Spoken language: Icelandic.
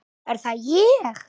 Er það ÉG??